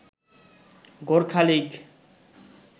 Gorkha league